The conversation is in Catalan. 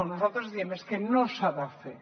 nosaltres diem és que no s’ha de fer